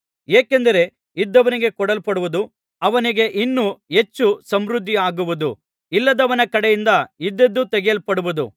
ಏಕೆಂದರೆ ಇದ್ದವನಿಗೆ ಕೊಡಲ್ಪಡುವುದು ಅವನಿಗೆ ಇನ್ನೂ ಹೆಚ್ಚು ಸಮೃದ್ಧಿಯಾಗುವುದು ಇಲ್ಲದವನ ಕಡೆಯಿಂದ ಇದ್ದದ್ದೂ ತೆಗೆಯಲ್ಪಡುವುದು